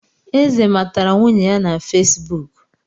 Eze matara nwunye ya na Fesibuk